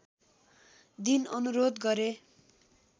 दिन अनुरोध गरे